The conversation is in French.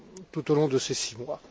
tout au long de ces six mois.